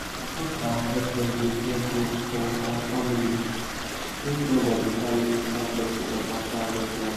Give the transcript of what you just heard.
we mark our cutlass with red rope for our family make nobody carry another person own after harvest wahala